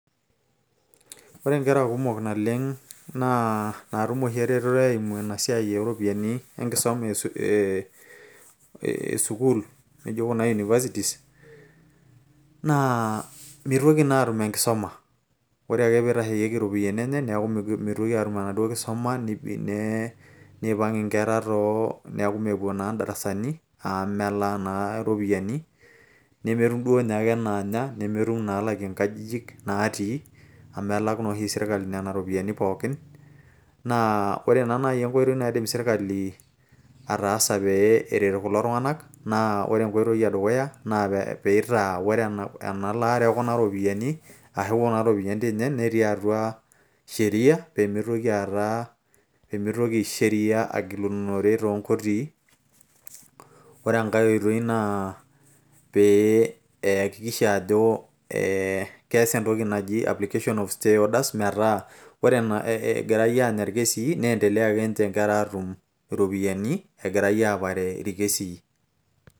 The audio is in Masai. ore nkera kumok naleng' naa natum oshi eretoto, enkusuma esukuul, naijo kuna universities naa mitoki naa atum enkisuma, ore ake pee eitasheyieki iropiyiani enye naa mitoki aatum enaduoo kisuma, neipang' inkera neeku meppuo naa darasani. amu melaa naa ropiyiani, nemetum ninye ake naanya, nemetum inaalakie nkajijik natii. amu elak naa oshi sirkali nena ropiyiani pookin, naa ore naa naji enkoitoi naidim sirkali ataasa pee eret kul tung'anak naa pee, eitaa ore ena laare ekuna ropiyiani, ashu kuna ropiyiani, netii atua sheria. pee mitoki aata, sheria agilunore too nkotii.